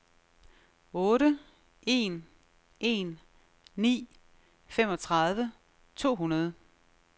otte en en ni femogtredive to hundrede